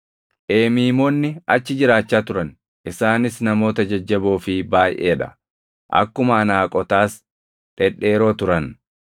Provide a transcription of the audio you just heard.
Eemiimoonni achi jiraachaa turan; isaanis namoota jajjaboo fi baayʼee dha; akkuma Anaaqotaas dhedheeroo turan.